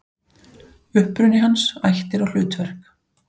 Uppruni hans, ættir og hlutverk.